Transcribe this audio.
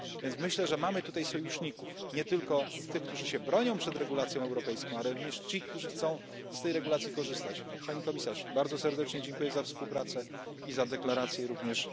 Myślę więc, że mamy tutaj sojuszników nie tylko tych, którzy się bronią przed regulacją europejską, ale również tych, którzy chcą z tej regulacji korzystać. Pani Komisarz, bardzo serdecznie dziękuję za współpracę i za deklaracje również.